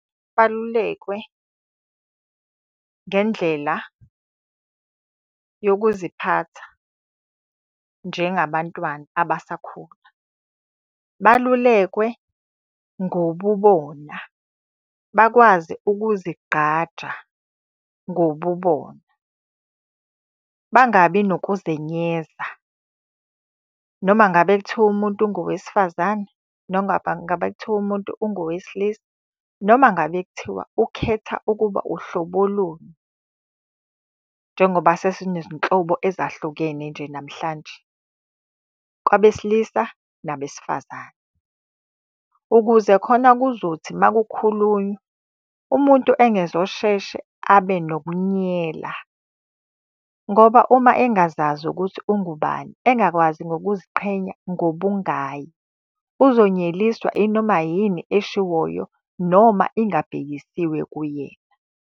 Balulekwe ngendlela yokuziphatha njengabantwana abasakhula. Balulekwe ngobubona, bakwazi ukuzigqaja ngobubona. Bangabi nokuzenyeza. Noma ngabe kuthiwa umuntu ungowesifazane, ngabe kuthiwa umuntu ungowesilisa, noma ngabe kuthiwa ukhetha ukuba uhlobo luni, njengoba sesinezinhlobo ezahlukene nje namhlanje kwabesilisa nabesifazane. Ukuze khona kuzothi uma kukhulunywa umuntu engezosheshe abe nokunyela. Ngoba uma engazazi ukuthi ungubani, engakwazi ngokuziqhenya ngobungaye. Uzonyeliswa inoma yini eshiwoyo noma ingabhekisiwe kuyena.